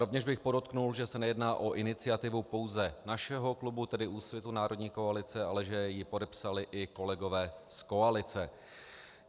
Rovněž bych podotkl, že se nejedná o iniciativu pouze našeho klubu, tedy Úsvitu - národní koalice, ale že ji podepsali i kolegové z koalice.